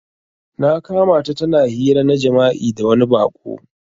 Na kamata tana hira na jima'i da wani bako.